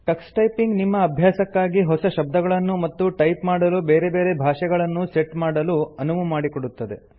Tux typing ನಿಮ್ಮ ಅಭ್ಯಾಸಕ್ಕಾಗಿ ಹೊಸ ಶಬ್ದಗಳನ್ನು ಮತ್ತು ಟೈಪ್ ಮಾಡಲು ಬೇರೆ ಬೇರೆ ಭಾಷೆಗಳನ್ನೂ ಸೆಟ್ ಮಾಡಲು ಅನುವು ಮಾಡಿಕೊಡುತ್ತದೆ